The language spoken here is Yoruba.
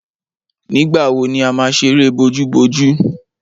Nígbà wo ni a má ṣeré bojúbojú?